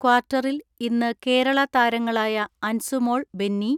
ക്വാർട്ടറിൽ ഇന്ന് കേരള താരങ്ങളായ അൻസു മോൾ ബെന്നി,